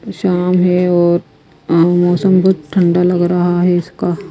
यह शाम है और मौसम बहोत ठंडा लग रहा है इसका--